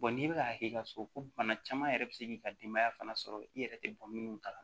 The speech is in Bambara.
n'i bɛ ka k'i ka so ko bana caman yɛrɛ bɛ se k'i ka denbaya fana sɔrɔ i yɛrɛ tɛ bɔ minnu kala